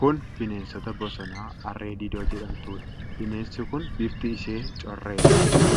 Kun bineensa bosonaa Harree Diidoo jedhamtuudha. Bineensi kun Bifti ishee correedha.